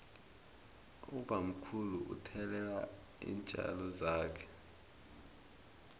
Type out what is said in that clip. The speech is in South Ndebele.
ubamkhulu uthelelela iintjalo zakhe